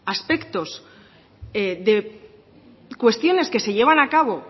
aspectos de cuestiones que se llevan a cabo